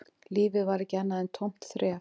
Lífið var ekki annað en tómt þref